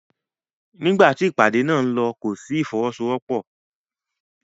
Nígbà tí ìpàdé náà ń lọ kò sí ìfọwọ́sowọ́pọ̀.